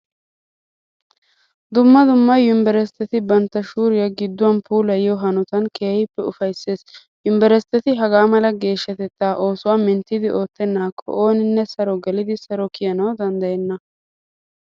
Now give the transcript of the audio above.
Dumma dumma yunverestteti bantta shuuriya gidduwa puulayiyo hanotan keehippe ufayssees. Yunverestteti hagaa mala geeshshatettaa oosuwa minttidi oottennaakka ooninne saro gelidi saro kiyanawu danddayenna.